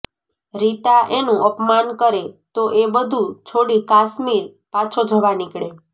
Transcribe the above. રીતા એનું અપમાન કરે તો એ બધું છોડી કાશ્મીર પાછો જવા નીકળે